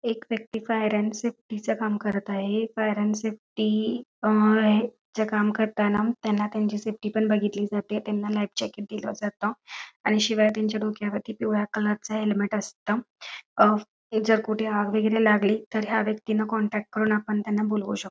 एक व्यक्ती पायऱ्यां सेफ्टी च काम करत आहे पायऱ्यां सेफ्टी हे काम करताना त्यांची सेफ्टी पण बघितली जाते त्यांना लाईव्ह जॅकेट दिल जात आणि शिवाय त्यांच्या डोक्या वरती पिवळ्या कलर च हेल्मेट असत हे जर कुठे आग वगैरे लागले तर ह्या व्यक्तींना कॉन्टॅक्ट करून आपण त्यांना बोलावू शकतो.